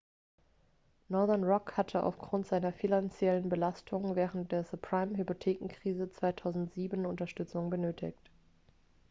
northern rock hatte aufgrund seiner finanziellen belastung während der subprime-hypothekenkrise 2007 unterstützung benötigt